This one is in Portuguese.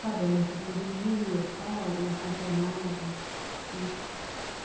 Sabe, a notícia do dia e tal, e acompanhava isso.